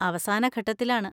അവസാന ഘട്ടത്തിലാണ്.